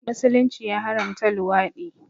Musulunci ya haramta luwaɗi